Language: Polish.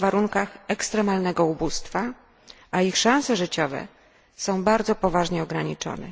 żyje w warunkach ekstremalnego ubóstwa, a ich szanse życiowe są bardzo poważnie ograniczone.